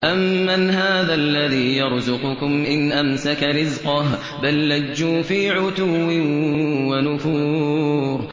أَمَّنْ هَٰذَا الَّذِي يَرْزُقُكُمْ إِنْ أَمْسَكَ رِزْقَهُ ۚ بَل لَّجُّوا فِي عُتُوٍّ وَنُفُورٍ